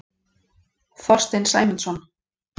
Þorstein Sæmundsson.